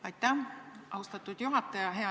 Aitäh, austatud juhataja!